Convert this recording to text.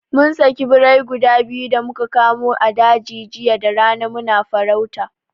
Mun saki birai gudu biyu da muka kamo a daji jiya da rana muna farauta